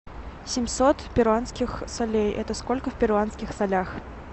семьсот перуанских солей это сколько в перуанских солях